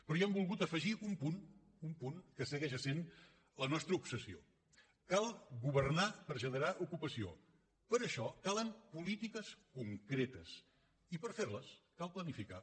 però hi hem volgut afegir un punt un punt que segueix essent la nostra obsessió cal governar per generar ocupació per això calen polítiques concretes i per ferles cal planificar